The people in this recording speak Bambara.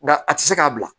Nka a tɛ se k'a bila